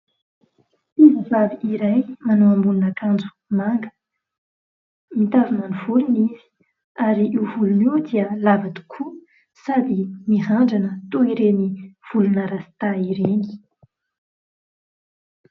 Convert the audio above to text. Tovovavy iray manao ambonin'akanjo manga, mitazona ny volony izy ary io volony io dia lava tokoa, sady mirandrana toy ireny volona "rasta" ireny.